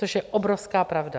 Což je obrovská pravda.